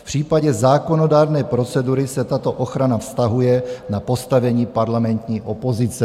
V případě zákonodárné procedury se tato ochrana vztahuje na postavení parlamentní opozice.